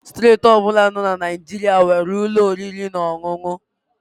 Steeti ọ bụla dị na Naịjirịa nwere ụlọ oriri na ọṅụṅụ